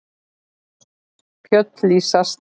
Fjöll lýsast.